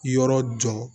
Yɔrɔ jɔ